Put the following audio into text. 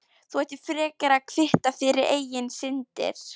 Þú ættir frekar að kvitta fyrir eigin syndir.